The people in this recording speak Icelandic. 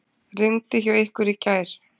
Rigndi hjá ykkur í gær?